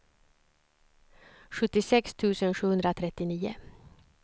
sjuttiosex tusen sjuhundratrettionio